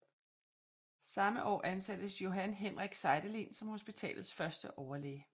Samme år ansattes Johan Henrik Seidelin som hospitalets første overlæge